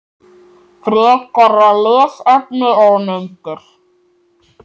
Frekara lesefni og myndir